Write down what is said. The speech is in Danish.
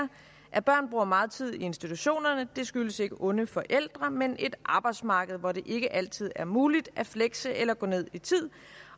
at børn bruger meget tid i institutionerne skyldes ikke onde forældre men et arbejdsmarked hvor det ikke altid er muligt at flekse eller gå ned i tid